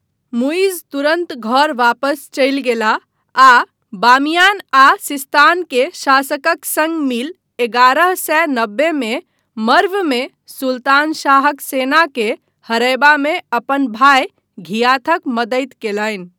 मुइज्ज तुरन्त घर वापस चलि गेलाह आ बामियान आ सिस्तान के शासकक सङ्ग मिल एगारह सए नबेमे मर्वमे सुल्तान शाहक सेनाँके हरयबामे अपन भाय घियाथक मदति कयलनि।